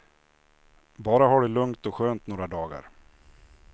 Bara ha det lugnt och skönt i några dagar.